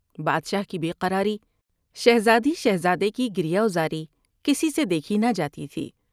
بادشاہ کی بے قراری شہزادی شہزادے کی گریہ وزاری کسی سے دیکھی نہ جاتی تھی ۔